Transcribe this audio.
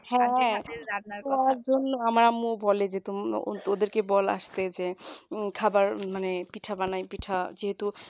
হ্যাঁ তোমার জন্য আমার আম্মু বলে যে ওদেরকে বল আসতে যে খাবার মানে পিঠা বানাই পিঠা